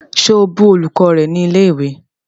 Ṣe o bù olùkọ́ rẹ ni ilẹ̀ ìwé?